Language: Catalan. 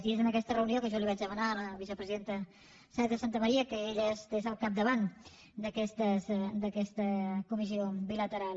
i és en aquesta reunió que jo li vaig demanar a la vicepresidenta sáenz de santamaría que ella estigués al capdavant d’aquesta comissió bilateral